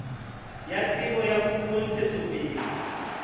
ya tsebo ya puo ntshetsopeleng